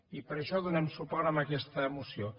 i per això donem suport a aquesta moció